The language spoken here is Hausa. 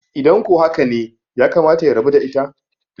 idan ko haka ne yakamata ya rabu da ita?